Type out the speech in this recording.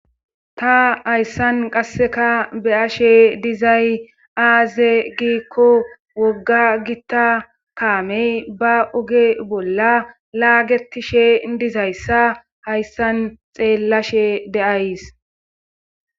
ta hayssan qasseka be'ashe dizay aaze giikko wogga gitta kaamey ba oge bolla laagetishe dizayssa hayssan xeellashe de'ays